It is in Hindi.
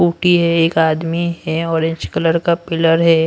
कुटी है एक आदमी है ऑरेंज कलर का पिलर है।